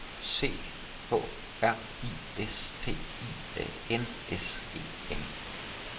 C H R I S T I A N S E N